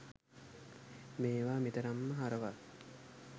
මේවා මෙතරම්ම හරවත්